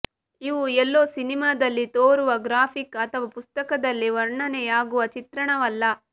ಇವು ಎಲ್ಲೋ ಸಿನಿಮಾದಲ್ಲಿ ತೋರುವ ಗ್ರಾಫಿಕ್ ಅಥವಾ ಪುಸಕ್ತದಲ್ಲಿ ವರ್ಣನೆಯಾಗುವ ಚಿತ್ರಣವಲ್ಲ